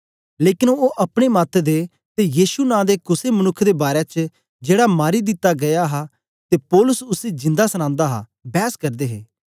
लेकन ओ अपने मत दे ते यीशु नां दे कुसे मनुक्ख दे बारै च जेड़ा मारी दिता गीया हा ते पौलुस उसी जिंदा सनांदा हा बैस करदे हे